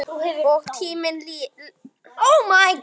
Og tíminn leið.